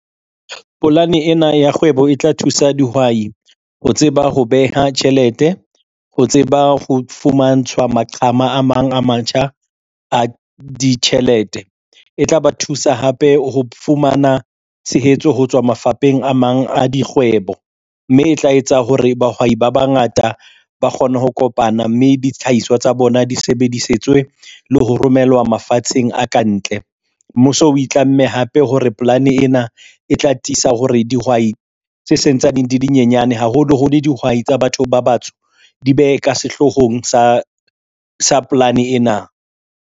Polane ena ya kgwebo e tla thusa dihwai ho tseba ho beha tjhelete, ho tseba ho fumantshwa maqhama a mang a matjha a ditjhelete, e tla ba thusa hape ho fumana tshehetso ho tswa mafapheng a mang a dikgwebo, mme e tla etsa hore bahwai ba bangata ba kgone ho kopana, mme ditlhaiswa tsa bona di sebedisetswe le ho romelwa mafatsheng a kantle. Mmuso o itlamme hape hore polane ena e tla tisa hore dihwai tse se ntsane di le nyenyane haholo holo dihwai tsa batho ba batsho, di be ka sehlohong sa polane ena.